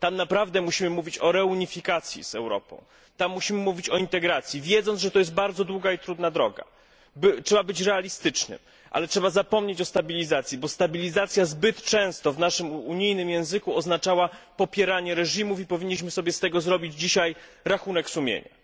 Tam naprawdę musimy mówić o reunifikacji z Europą, tam musimy mówić o integracji, wiedząc, że jest to bardzo trudna i długa droga. Trzeba być realistycznym, ale trzeba zapomnieć o stabilizacji, bo stabilizacja zbyt często w naszym unijnym języku oznaczała popieranie reżimów i powinniśmy sobie z tego dzisiaj zrobić rachunek sumienia.